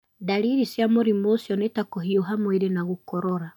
Ndariri cia mũrimũ ũcio nĩ ta kũhiũha mwĩrĩ na gũkorora.